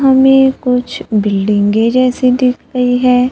हमें कुछ बिल्डिंगे जैसे दिख रही है।